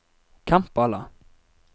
Kampala